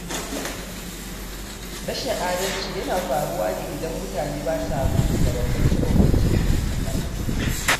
Rashin adalci yana faruwa ne idan mutane ba sa mutunta bambance-bambance da ke tsakaninsu